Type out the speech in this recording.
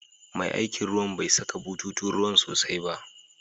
Mai aikin ruwan bai saka bututun ruwan sosai ba.